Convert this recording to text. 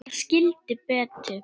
Ég skildi Betu.